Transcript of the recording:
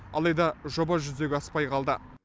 алайда жоба жүзеге аспай қалды